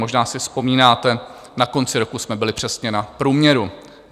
Možná si vzpomínáte, na konci roku jsme byli přesně na průměru.